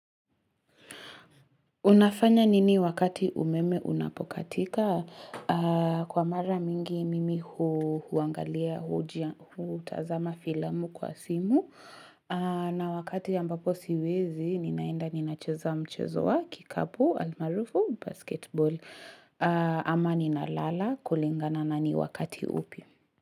Unafanya nini wakati umeme unapokatika kwa mara mingi mimi huangalia hujia huu tazama filamu kwa simu na wakati ambapo siwezi ninaenda ninacheza mchezo wa kikapu almarufu basketball ama ninalala kulingana nani wakati upi.